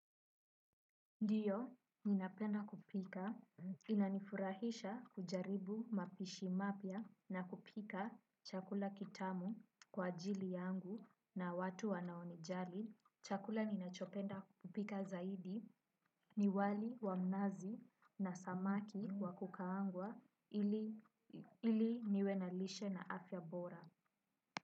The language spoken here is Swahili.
Ndiyo, ninapenda kupika. Inanifurahisha kujaribu mapishi mapya na kupika chakula kitamu kwa ajili yangu na watu wanaonijali. Chakula ninachopenda kupika zaidi ni wali wa mnazi na samaki wa kukaangwa ili niwenalishe na afya bora.